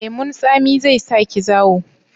Lemun tsami zai sa ki zawo?